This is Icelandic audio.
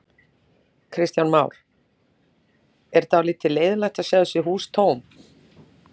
Kristján Már: Er dálítið leiðinlegt að sjá þessi hús tóm?